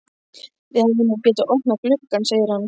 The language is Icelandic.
Þið hefðuð nú getað opnað gluggann, segir hann.